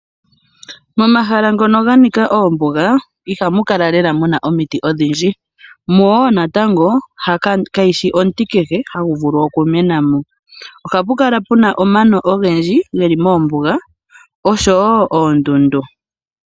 Momagala ngono ga nika oombuga, ihamu kala lela muna omiti odhindji, mo natango hamuti kehe hagu okumena mo. Ohapu kala puna omano ogendji geli mombuga oshowo oondundu.